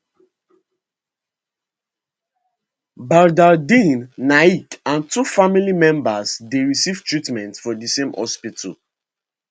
badardin naik and two family members dey receive treatment for di same hospital